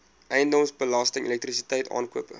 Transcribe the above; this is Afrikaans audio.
eiendomsbelasting elektrisiteit aankope